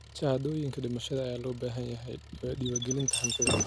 Shahaadooyinka dhimashada ayaa loo baahan yahay diiwaangelinta hantida.